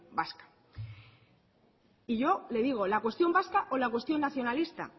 vasca y yo le digo la cuestión vasca o la cuestión nacionalista